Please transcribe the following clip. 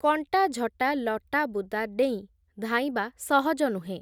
କଣ୍ଟାଝଟା ଲଟାବୁଦା ଡେଇଁ, ଧାଇଁବା ସହଜ ନୁହେଁ ।